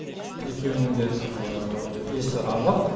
екеуінің де есі анық